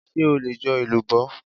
Ṣé o lè jo elubo?